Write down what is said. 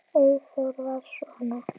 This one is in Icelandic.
Eyþór var svona.